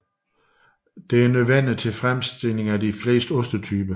Det er nødvendigt til fremstilling af de fleste ostetyper